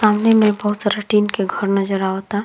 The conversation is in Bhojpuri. सामने में बहुत सारा टीन के घर नज़र आवता।